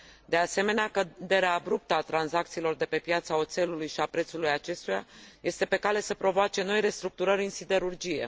De asemenea, căderea abruptă a tranzacțiilor de pe piața oțelului și a prețului acestuia este pe cale să provoace noi restructurări în siderurgie.